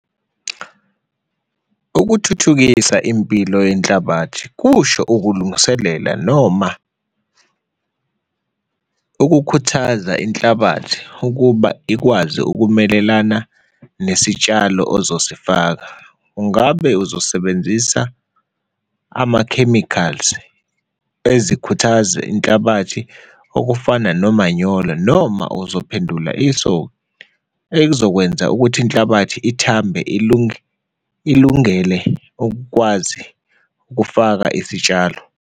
Ukuthuthukisa impilo yenhlabathi kusho ukulungiselela noma ukukhuthaza inhlabathi ukuba ikwazi ukumelelana nesitshalo ozosifaka, ungabe uzosebenzisa ama-chemicals ezikhuthazi inhlabathi okufana nomanyolo or noma uzophendula e-sow ezokwenza ukuthi inhlabathi ithambe ilunge, ilungele ukwazi ukufaka isitshalo.